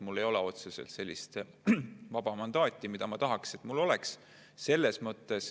Mul ei ole otseselt sellist vaba mandaati, nagu ma tahaks, et mul oleks.